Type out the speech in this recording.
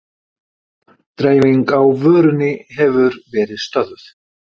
Dreifing á vörunni hefur verið stöðvuð